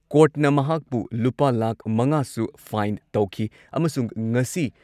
ꯀꯣꯔꯠꯅ ꯃꯍꯥꯛꯄꯨ ꯂꯨꯄꯥ ꯂꯥꯈ ꯃꯉꯥꯁꯨ ꯐꯥꯏꯟ ꯇꯧꯈꯤ ꯑꯃꯁꯨꯡ ꯉꯁꯤ